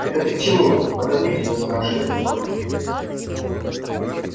это ты к чему подозрительно спрашивает он